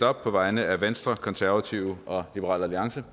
op på vegne af venstre konservative og liberal alliance